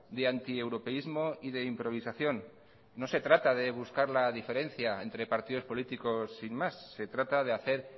de antieuropeísmo y de improvisación no se trata de buscar la diferencia entre partidos políticos sin más se trata de hacer